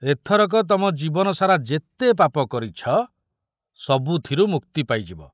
ଏଥରକ ତମ ଜୀବନ ସାରା ଯେତେ ପାପ କରିଛ, ସବୁଥିରୁ ମୁକ୍ତି ପାଇଯିବ।